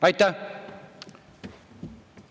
Aitäh!